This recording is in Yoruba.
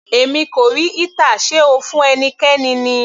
Èmi kò rí heater, sé O fún ẹnikẹ́ni ni?